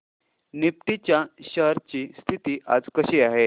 Nifty च्या shares ची स्थिती आज कशी आहे